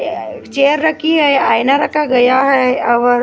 एक चेयर रखी है आईना रखा गया हे ओर।